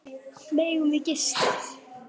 Megum við gista?